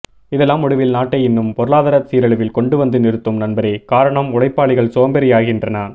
இதெல்லாம் முடிவில் நாட்டை இன்னும் பொருளாதாரத் சீரழிவில் கொண்டு வந்து நிறுத்தும் நண்பரே காரணம் உழைப்பாளிகள் சோம்பேறியாகின்றான்